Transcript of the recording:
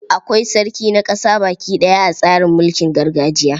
Akwai sarki na ƙasa baki ɗaya a tsarin mulkin gargajiya.